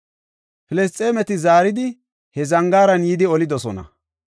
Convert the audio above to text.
Filisxeemeti zaari he zangaara yidi olidosona.